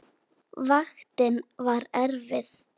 Vaktin var erfið.